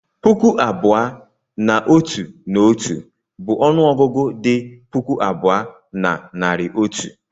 puku abụọ na otu na otu bụ ọnụ ọgụgụ dị puku abụọ na narị otu.